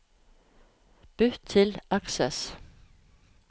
Bytt til Access